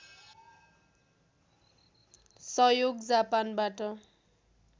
सहयोग जापानबाट